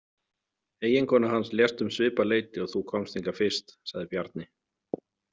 Eiginkona hans lést um svipað leyti og þú komst hingað fyrst, sagði Bjarni.